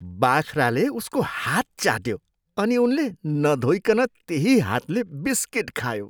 बाख्राले उसको हात चाट्यो अनि उनले नधोइनकन त्यही हातले बिस्किट खायो।